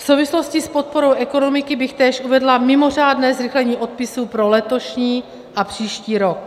V souvislosti s podporou ekonomiky bych též uvedla mimořádné zrychlení odpisů pro letošní a příští rok.